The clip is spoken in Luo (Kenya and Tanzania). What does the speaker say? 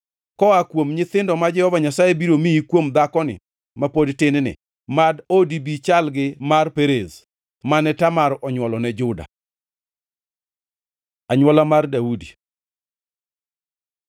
Koa kuom nyithindo ma Jehova Nyasaye biro miyi kuom dhakoni ma pod tin-ni, mad odi bi chal gi mar Perez mane Tamar onywolo ne Juda.” Anywolo mar Daudi